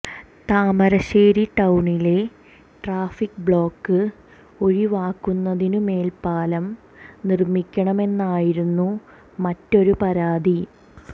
താമരശേരി ടൌണിലെ traffic block ഒഴിവാക്കുന്നതിനു മേൽപാലം നിർമ്മിക്കണമെന്നായിരുന്നു മറ്റൊരു പരാതി